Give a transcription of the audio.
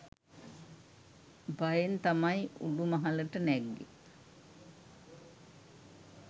භයෙන් තමයි උඩු මහලට නැග්ගේ.